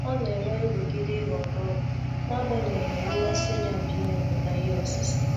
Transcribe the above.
Ọ na-enwe nrụgide ịhọrọ ọgwụ, n'agbanyeghi na mmasi ya bụ imepụta ihe osise.